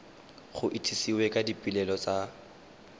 go itsisiwe ka dipoelo tsa